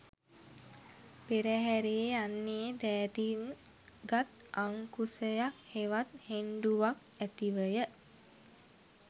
පෙරහැරේ යන්නේ දෑතින් ගත් අංකුසයක් හෙවත් හෙණ්ඩුවක් ඇතිවය.